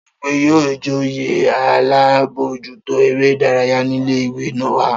Ta ni o rò pé yóò joyè alábòójútó eré ìdárayá nílé ìwé wa?